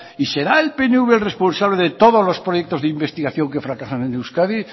y será el pnv el responsable de todos los proyectos de investigación que fracasan en euskadi